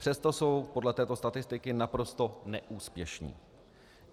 Přesto jsou podle této statistiky naprosto neúspěšní.